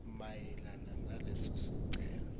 mayelana naleso sicelo